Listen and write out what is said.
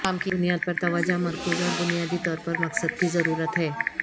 کام کی بنیاد پر توجہ مرکوز اور بنیادی طور پر مقصد کی ضرورت ہے